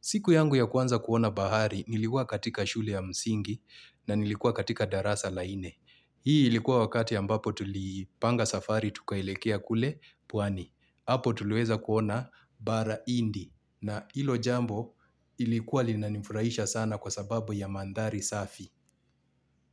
Siku yangu ya kwanza kuona bahari nilikuwa katika shule ya msingi na nilikuwa katika darasa la nne. Hii ilikuwa wakati ambapo tulipanga safari tukaelekea kule pwani. Hapo tuliweza kuona bara hindi na hilo jambo lilikuwa linanifurahisha sana kwa sababu ya mandhari safi.